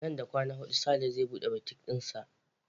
Nan da kwana hudu Sale zai buɗe butik ɗisa.